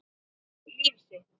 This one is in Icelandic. Líf sitt.